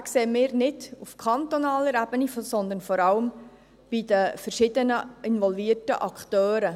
Den sehen wir nicht auf kantonaler Ebene, sondern vor allem bei den verschiedenen involvierten Akteuren.